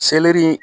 Seleri